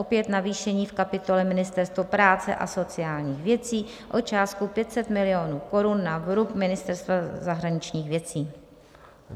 Opět navýšení v kapitole Ministerstvo práce a sociálních věcí o částku 500 milionů korun na vrub Ministerstva zahraničních věcí.